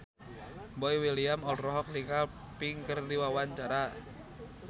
Boy William olohok ningali Pink keur diwawancara